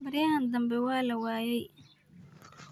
Beriyahan dambe walawaye.